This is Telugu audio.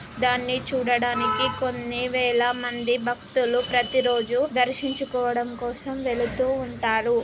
ధాని చూడడానికి కొన్ని వేల మంది బాకత్తులు ప్రతిరోజూ దర్శించుకోవడం కోసం వెళుతూ ఉంటారు.